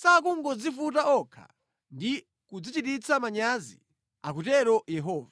sakungodzivuta okha, ndi kudzichititsa manyazi? akutero Yehova.”